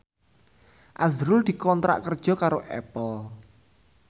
azrul dikontrak kerja karo Apple